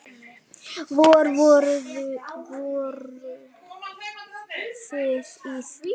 Vor, voruð þið í því?